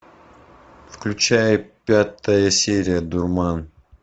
включай пятая серия дурман